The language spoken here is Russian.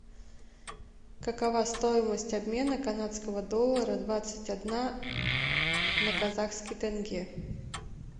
какова стоимость обмена канадского доллара двадцать одна на казахский тенге